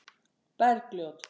Bergljót